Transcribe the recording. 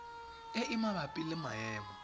e e mabapi le maemo